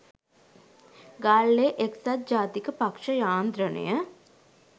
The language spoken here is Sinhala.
ගාල්ලේ එක්සත් ජාතික පක්ෂ යාන්ත්‍රණය